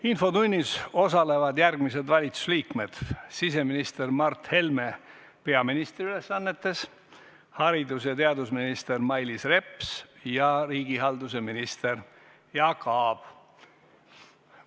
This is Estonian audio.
Infotunnis osalevad järgmised valitsuse liikmed: siseminister Mart Helme peaministri ülesannetes, haridus- ja teadusminister Mailis Reps ja riigihalduse minister Jaak Aab.